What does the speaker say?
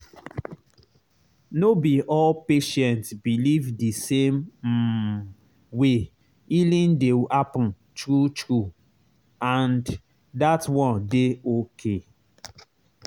no be all patient believe the same um way healing dey happen true true—and that one dey okay.